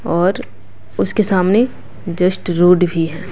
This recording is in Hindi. और उसके सामने जस्ट रोड भी है।